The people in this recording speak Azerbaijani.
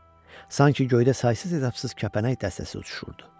Sanki göydə saysız-hesabsız kəpənək dəstəsi uçuşurdu.